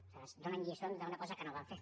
aleshores donen lliçons d’una cosa que no van fer